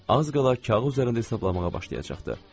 Az qala kağız üzərinə hesablamağa başlayacaqdı.